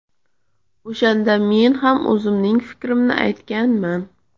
O‘shanda men ham o‘zimning fikrimni aytganman.